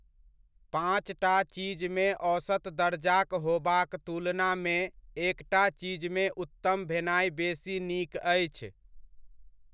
पाँचटा चीजमे औसत दरजाक होबाक तुलनामे एकटा चीजमे उत्तम भेनाइ बेसी नीक अछि।